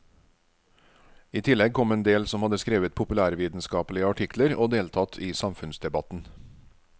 I tillegg kom en del som hadde skrevet populærvitenskapelige artikler og deltatt i samfunnsdebatten.